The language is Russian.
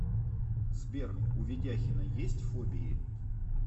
сбер у ведяхина есть фобии